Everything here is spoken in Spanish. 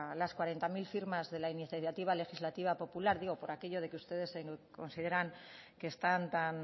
las cuarenta mil firmas de la iniciativa legislativa popular digo por aquellos de que ustedes consideran que están tan